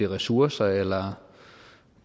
ressourcer eller